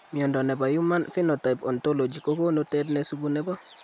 Miondo nebo Human Phenotype Ontology kogonu tet nesubu nebo